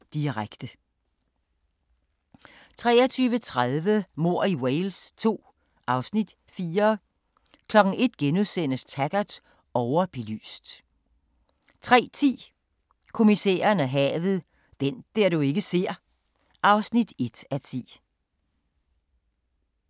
22:00: Fodbold: EM - finale, direkte 23:30: Mord i Wales II (Afs. 4) 01:00: Taggart: Overbelyst * 03:10: Kommissæren og havet: Den du ikke ser (1:10)